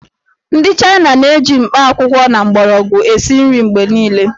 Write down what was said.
Ndị China na-eji mkpakwụkwọ na mgbọrọgwụ esi nri mgbe niile